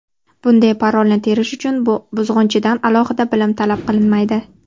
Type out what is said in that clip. Bunday parolni terish uchun buzg‘unchidan alohida bilim talab qilinmaydi.